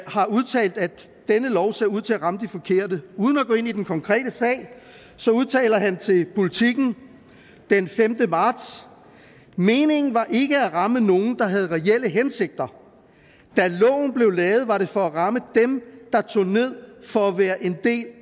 har udtalt at denne lov ser ud til at ramme de forkerte uden at gå ind i den konkrete sag udtaler han til politiken den femte marts meningen var ikke at ramme nogen der havde reelle hensigter da loven blev lavet var det for at ramme dem der tog ned for at være en del